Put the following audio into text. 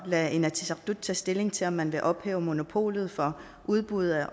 lade inatsisartut tage stilling til om man vil ophæve monopolet for udbuddet af